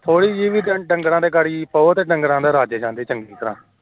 ਥੋੜੀ ਜੀ ਵੀ ਡੰਗਰਾਂ ਦੇ ਗਾੜੀ ਪਾਓ ਡੰਗਰਾਂ ਦੇ ਰੱਜ ਜਾਂਦੇ ਆ